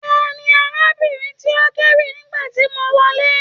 Tani arábìnrin tó n k'ewí nígbàtí mo wọlé?